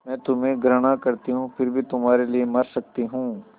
मैं तुम्हें घृणा करती हूँ फिर भी तुम्हारे लिए मर सकती हूँ